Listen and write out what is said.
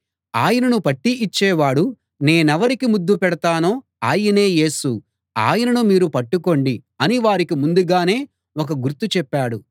ఆయనను పట్టి ఇచ్చేవాడు నేనెవరికి ముద్దు పెడతానో ఆయనే యేసు ఆయనను మీరు పట్టుకోండి అని వారికి ముందుగానే ఒక గుర్తు చెప్పాడు